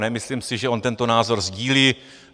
Nemyslím si, že on tento názor sdílí.